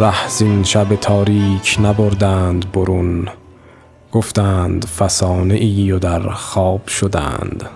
ره زین شب تاریک نبردند برون گفتند فسانه ای و در خواب شدند